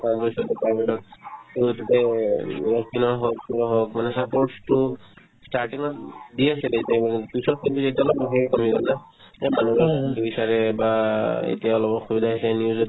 যিটো কাম কৰিছিলো সেইটো private তত to তেতিয়াই অলপ দিনৰ হওক হওক মানে supports তো starting অত দি আছিলে পিছত কিন্তু যেতিয়া অলপ সেই কমি গ'ল ন এতিয়া মানুহে নিবিচাৰে বা এতিয়া অলপ সুবিধা সেইখিনিও যদি